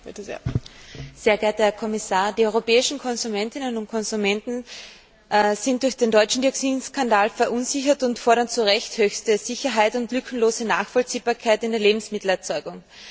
Frau Präsidentin, sehr geehrter Herr Kommissar! Die europäischen Konsumentinnen und Konsumenten sind durch den deutschen Dioxin Skandal verunsichert und fordern zu Recht höchste Sicherheit und lückenlose Nachvollziehbarkeit in der Lebensmittelerzeugung.